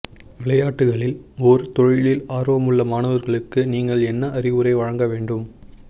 விளையாட்டுகளில் ஒரு தொழிலில் ஆர்வமுள்ள மாணவர்களுக்கு நீங்கள் என்ன அறிவுரை வழங்க வேண்டும்